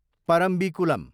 Parambikulam